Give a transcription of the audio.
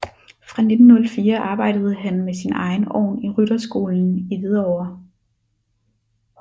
Fra 1904 arbejdede han med sin egen ovn i rytterskolen i Hvidovre